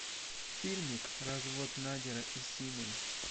фильмик развод надера и симин